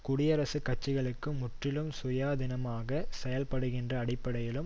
குடியரசுக் கட்சிகளிலிருந்து முற்றிலும் சுயாதீனமாக செயல்படுகின்ற அடிப்படையிலும்